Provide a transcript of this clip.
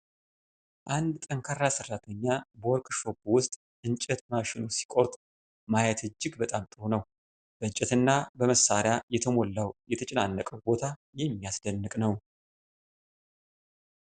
አንድ ጠንካራ ሰራተኛ በወርክሾፕ ውስጥ እንጨት በማሽኑ ሲቆርጥ ማየት እጅግ በጣም ጥሩ ነው። በእንጨትና በመሳሪያ የተሞላው የተጨናነቀው ቦታ የሚያስደንቅ ነው።